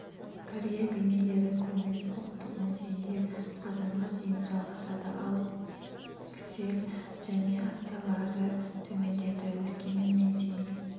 индекстің өкілетті тізіміне енгізілген акциялармен жасалатын мәмілелер көлемі алдыңғы сауда-саттық күнімен салыстырғанда есе өсіп миллион теңгені немесе мың долларды құрады